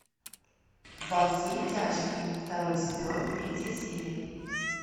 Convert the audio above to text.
во все тяжкие второй сезон третья серия